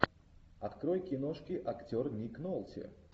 открой киношки актер ник нолти